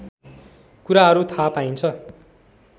कुराहरू थाहा पाइन्छ